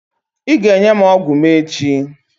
Ị ga-enye m ọgwụ m echi.